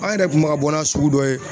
An yɛrɛ kun bɛ ka bɔ n'a sugu dɔ ye